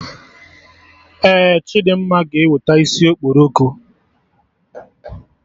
Ee, Chidimma ga eweta isi okporoko